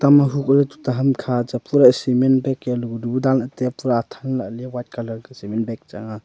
ema hukoh ley tuta hamkha cha a pura cement bag yalega bu danley taiya pura athan lahley white colour ka cement bag changa.